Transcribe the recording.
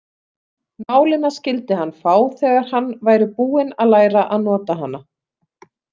Nálina skyldi hann fá þegar hann væri búinn að læra að nota hana.